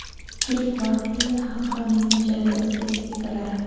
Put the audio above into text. Ilk bor Pinngle xalqaro messenjerida o‘zbek stikerlari!.